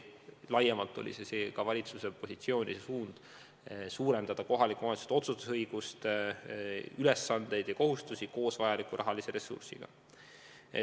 Laiemalt oli valitsuse suund ka suurendada kohaliku omavalitsuse otsustusõigust, ülesandeid ja kohustusi koos vajaliku rahalise ressursiga.